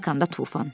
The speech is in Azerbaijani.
Stakanda tufan.